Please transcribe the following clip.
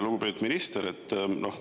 Lugupeetud minister!